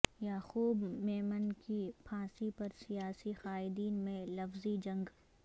یعقوب میمن کی پھانسی پر سیاسی قائدین میں لفظی جنگ